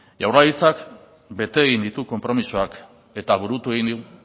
jaurlaritzak bete egin ditu konpromisoak eta burutu egin du